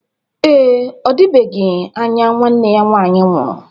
Ee, ọdịbegi anya nwanne ya nwaanyị nwụrụ.